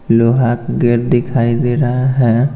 लोहा का गेट दिखाई दे रहा है।